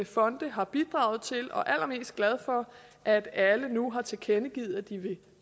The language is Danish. fonde har bidraget til og er allermest glad for at alle nu har tilkendegivet at de vil